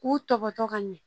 K'u tɔbɔtɔ ka ɲɛ